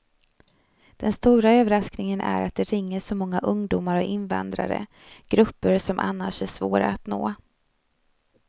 Den stora överraskningen är att det ringer så många ungdomar och invandrare, grupper som annars är svåra att nå.